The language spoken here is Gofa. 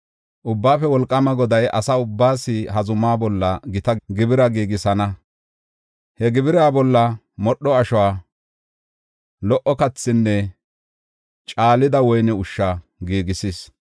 Ubbaafe Wolqaama Goday asa ubbaas ha zumaa bolla gita gibira giigisana. He gibira bolla modho ashuwa, lo77o kathinne caalida woyne ushsha giigisis.